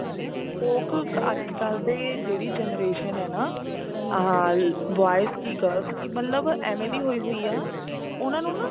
ਲੋਕ ਅੱਜਕਲ ਦੇ ਜਿਹੜੀ generation ਹੈ ਨਾ ਆਹ boys ਕੀ girls ਕੀ ਮਤਲਬ ਏਵੇਂ ਦੀ ਹੋਈ ਹੋਈ ਆ ਉਹਨਾ ਨੂੰ ਨਾ